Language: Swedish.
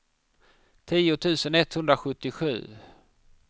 tio tusen etthundrasjuttiosju